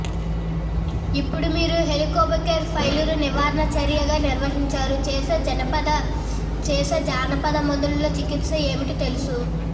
ఇప్పుడు మీరు Helicobacter pylori నివారణ చర్యగా నిర్వహించారు చేసే జానపద మందులలో చికిత్స ఏమిటి తెలుసు